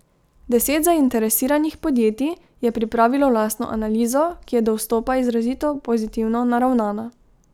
Deset zainteresiranih podjetij je pripravilo lastno analizo, ki je do vstopa izrazito pozitivno naravnana.